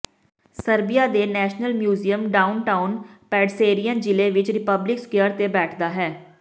Serbia ਦੇ national museum downtown ਪੈਡਸੇਰਿਯਨ ਜ਼ਿਲੇ ਵਿਚ ਰੀਪਬਲਿਕ ਸਕੁਆਇਰ ਤੇ ਬੈਠਦਾ ਹੈ